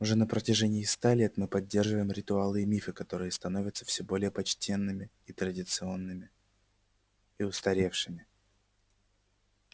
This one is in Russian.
уже на протяжении ста лет мы поддерживаем ритуалы и мифы которые становятся всё более почтенными и традиционными и устаревшими